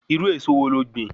Irú èso wo lo gbìn?